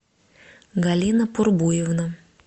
галина пурбуевна